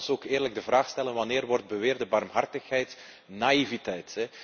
Maar laten we ook eerlijk de vraag stellen wanneer wordt beweerde barmhartigheid naïviteit?